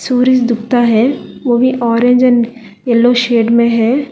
सूरज दुखता है वो भी ऑरेंज एंड येलो सेड में है।